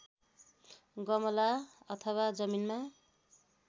गमला अथवा जमिनमा